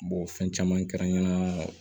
fɛn caman kɛra n ɲe